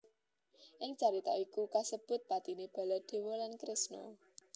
Ing carita iki iku kasebut patine Baladewa lan Kresna